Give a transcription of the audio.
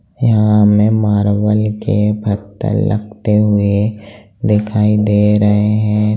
यहा हमे मारबल के पत्थर लगते हुए दिखाई दे रहे हैं।